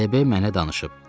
Debi mənə danışıb.